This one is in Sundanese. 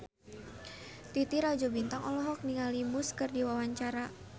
Titi Rajo Bintang olohok ningali Muse keur diwawancara